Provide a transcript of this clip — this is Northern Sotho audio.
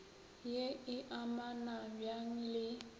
ye e amana bjang le